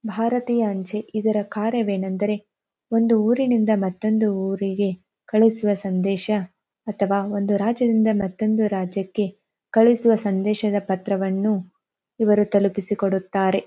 ಭಾರತೀಯ ಅಂಚೆ ಇದರ ಕಾರ್ಯವೇನೆಂದರೆ ಒಂದು ಊರಿಂದ ಮತ್ತೊಂದು ಊರಿಗೆ ಕಳಿಸುವ ಸಂದೇಶ ಅಥವಾ ಒಂದು ರಾಜ್ಯದಿಂದ ಮತ್ತೊಂದು ರಾಜ್ಯಕ್ಕೆ ಕಳಿಸುವ ಸಂದೇಶದ ಪತ್ರವನ್ನು ಇವರು ತಲುಪಿಸಿ ಕೊಡುತ್ತಾರೆ.